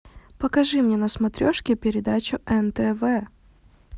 покажи мне на смотрешке передачу нтв